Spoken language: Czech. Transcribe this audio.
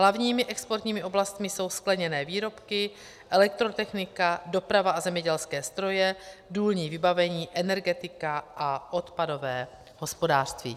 Hlavními exportními oblastmi jsou skleněné výrobky, elektrotechnika, doprava a zemědělské stroje, důlní vybavení, energetika a odpadové hospodářství.